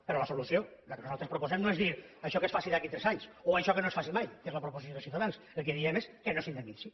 però la solució la que nosaltres proposem no és dir això que es faci d’aquí a tres anys o això que no es faci mai que és la proposició de ciutadans el que diem és que no s’indemnitzi